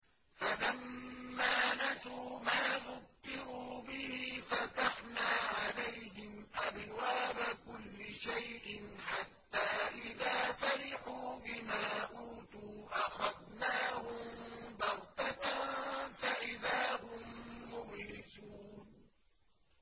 فَلَمَّا نَسُوا مَا ذُكِّرُوا بِهِ فَتَحْنَا عَلَيْهِمْ أَبْوَابَ كُلِّ شَيْءٍ حَتَّىٰ إِذَا فَرِحُوا بِمَا أُوتُوا أَخَذْنَاهُم بَغْتَةً فَإِذَا هُم مُّبْلِسُونَ